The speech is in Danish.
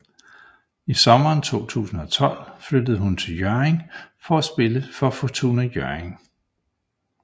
I sommeren 2012 flyttede hun til Hjørring for at spille for Fortuna Hjørring